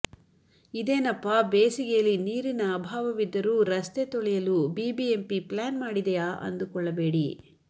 ಇದೇನಪ್ಪ ಬೇಸಿಗೆಯಲ್ಲಿ ನೀರಿನ ಅಭಾವವಿದ್ದರೂ ರಸ್ತೆ ತೊಳೆಯಲು ಬಿಬಿಎಂಪಿ ಪ್ಲ್ಯಾನ್ ಮಾಡಿದೆಯಾ ಅಂದುಕೊಳ್ಳಬೇಡಿ